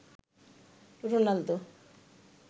Ronaldo